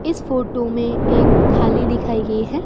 इस फोटो में एक थाली दिखाई गई है।